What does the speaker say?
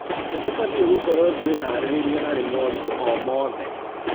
Na tũbatie gũkorwo twĩharĩrĩirie harĩ moritũ o mothe.